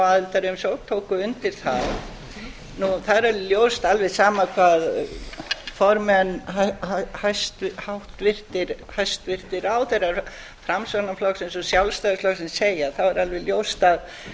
aðildarumsókn tóku undir það það er alveg ljóst og alveg sama hvað formenn hæstvirtir ráðherrar framsóknarflokksins og sjálfstæðisflokksins segja þá er alveg ljóst að